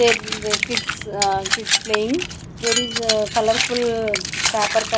there in the kids aah kids playing there is a colourful paper cut--